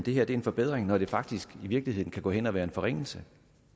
her er en forbedring når det faktisk i virkeligheden kan gå hen og være en forringelse